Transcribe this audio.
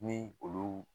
Ni olu